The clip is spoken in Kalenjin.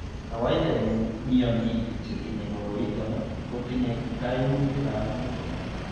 Kawaita eng' mionik chetinye koroiton kotinye kaimutik ab muguleledo